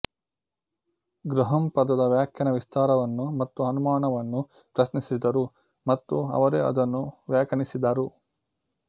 Graham ಪದದ ವ್ಯಾಖ್ಯಾನ ವಿಸ್ತಾರವನ್ನು ಮತ್ತು ಅನುಮಾನವನ್ನು ಪ್ರಶ್ನಿಸಿದರು ಮತ್ತು ಅವರೇ ಅದನ್ನು ವ್ಯಾಖ್ಯಾನಿಸದರು